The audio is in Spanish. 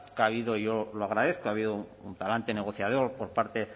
que ha habido y yo lo agradezco ha habido un talante negociador por parte